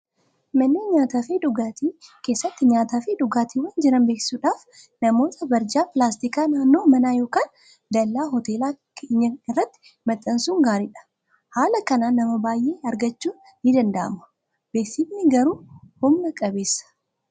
Manneen nyaataa fi dhugaatii keessatti nyaataa fi dhugaatii jiran beeksisuudhaaf namootaaf barjaa pilaastikaa naannoo manaa yookaan dallaa hoteela keenyaa irratti maxxansuun gaariidha. Haala kanaan nama baay'ee argachuun ni danda'ama. Beeksifni garuu humna qabeessa.